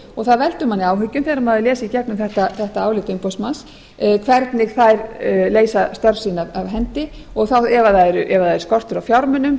og það veldur manni áhyggjum þegar maður les í gegnum þetta álit umboðsmanns hvernig þær leysa störf sín af hendi og ef það er skortur á fjármunum